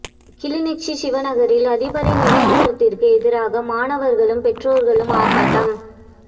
கிளிநொச்சி சிவநகரில் அதிபரின் இடமாற்றத்திற்கு எதிராக மாணவா்களும் பெற்றோர்களும் ஆர்ப்பாட்டம்